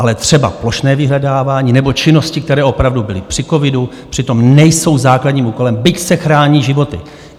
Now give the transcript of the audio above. Ale třeba plošné vyhledávání nebo činnosti, které opravdu byly při covidu, přitom nejsou základním úkolem, byť se chrání životy.